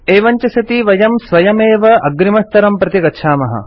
एवं च सति वयं स्वयमेव अग्रिमस्तरं प्रति गच्छामः